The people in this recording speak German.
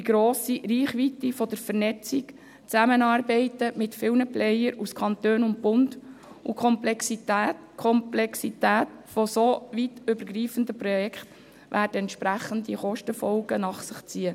Die grosse Reichweite der Vernetzung, das Zusammenarbeiten mit vielen Akteuren aus Kanton und Bund, und die Komplexität solch übergreifender Projekte werden entsprechende Kostenfolgen nach sich ziehen.